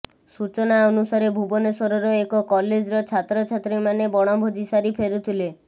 ସୂଚନା ଅନୁସାରେ ଭୁବନେଶ୍ବରର ଏକ କଲେଜର ଛାତ୍ରଛାତ୍ରୀମାନେ ବଣଭୋଜି ସାରି ଫେରୁଥିଲେ